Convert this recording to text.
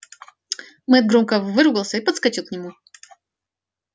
мэтт громко выругался и подскочил к нему